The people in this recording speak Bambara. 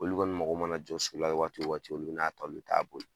Olu kɔni mako mana jɔ so la waati o waati olu bɛ n'a ta olu bɛ t'a boli.